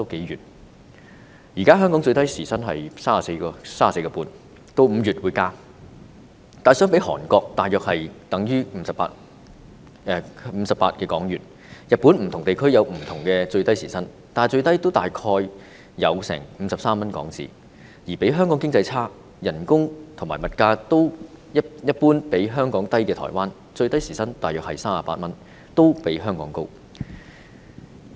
現時香港的最低時薪是 34.5 元，到5月便會增加，但相比之下，在韓國大約是58港元；日本的不同地區有不同的最低時薪，但最低也有大約53港元，而經濟較香港差，但工資和物價一般較香港低的台灣，最低時薪是大約38港元，也較香港高。